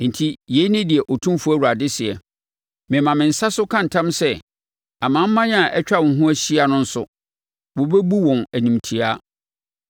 Enti yei ne deɛ Otumfoɔ Awurade seɛ: Mema me nsa so ka ntam sɛ amanaman a atwa wo ho ahyia no nso, wɔbɛbu wɔn animtiaa.